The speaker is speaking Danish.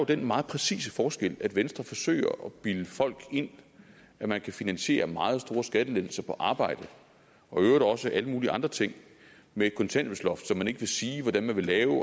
den meget præcise forskel at venstre forsøger at bilde folk ind at man kan finansiere meget store skattelettelser på arbejde og i øvrigt også alle mulige andre ting med et kontanthjælpsloft som venstre ikke vil sige hvordan de vil lave og